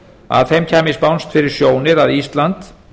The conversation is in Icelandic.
að þeim kæmi spánskt fyrir sjónir að ísland